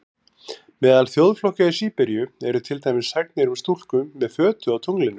Meðal þjóðflokka í Síberíu eru til dæmis sagnir um stúlku með fötu á tunglinu.